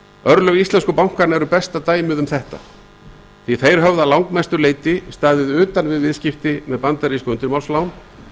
örlög íslensku bankanna eru besta dæmið um það því að þeir höfðu að langmestu leyti staðið utan við viðskipti með bandarísk undirmálslán